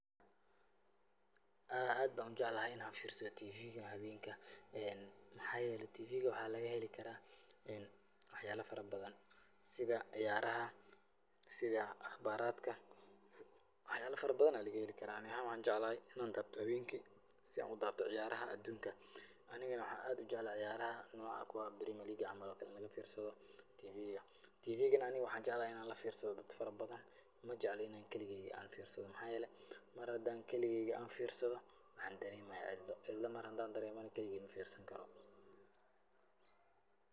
Haa, aad baan u jeclahay in aan fiirsado TV ga habeenka. Maxaa yeelay, TV ga waxaa laga heli karaa waxyaalo farabadan sida ciyaaraha, sida akhbaaraadka, waxyaalo farabadan ayaa laga heli karaa. Anigana waxaan jeclahay in aan daawado habeenki si aan u daawado ciyaaraha adunka. Anigana waxaan aad u jeclahay ciyaaraha nooca kuwa Premier League camal in laga fiirsado. TV ga, ani waxaan jeclahay in aan la fiirsado dad farabadan, ma jecli in aan keligeeyga aan fiirsado. Maxaa yeelay, mar hadaan keligayga aan fiirsado, waxaan dareemayaa cidlo. Cidla mar hadaan dareemana, keligeyga ma fiirsan karo.